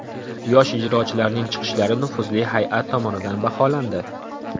Yosh ijrochilarning chiqishlari nufuzli hay’at tomonidan baholandi.